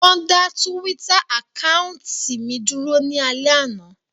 Wón dá túwítà àkáùntì mi dúró ní alẹ́ àná